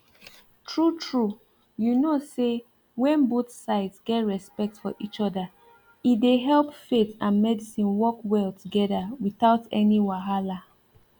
true true you know say when both sides get respect for each other e dey help faith and medicine work well together without any wahala